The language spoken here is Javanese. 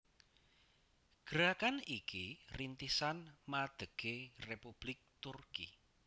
Gerakan iki rintisan madegé Republik Turki